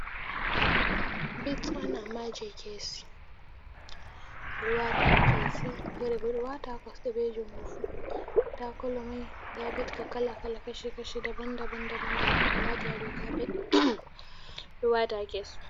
Bits on, amma jey keesi, amaj,i ɓe waata haa keesi, feere bo ɗo waata haa kosɗe be juuɗe fuu. Nda kolo may, nda bits ka kala kala, kaci kaci , daban daban daban daban ɓe waati haa dow kaapet ɗo waata haa keesi.